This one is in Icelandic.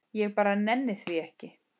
Ég bara nenni því ekki.